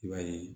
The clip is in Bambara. I b'a ye